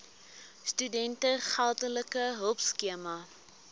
studente geldelike hulpskema